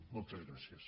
moltes gràcies